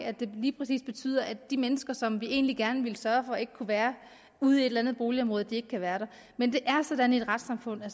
at det lige præcis betyder at de mennesker som vi egentlig gerne ville sørge for ikke kunne være ude i et eller andet boligområde kan være der men det er sådan i et retssamfund at